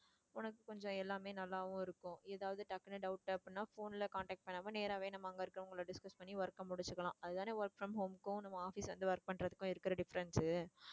உனக்கு கொஞ்சம் எல்லாமே நல்லாவும் இருக்கும் ஏதாவது டக்குனு doubt அப்படின்னா phone ல contact பண்ணாம நேராவே நம்ம அங்க இருக்குறவங்களை discuss பண்ணி work அ முடிச்சிக்கிலாம். அதுதான் work from home க்கும் நம்ம office வந்து work பண்றதுக்கும் இருக்குற difference